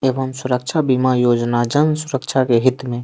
एवं सुरक्षा बीमा योजना जन सुरक्षा के हित में--